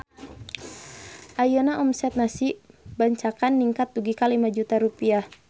Ayeuna omset Nasi Bancakan ningkat dugi ka 5 juta rupiah